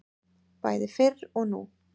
Bæði fyrr og nú.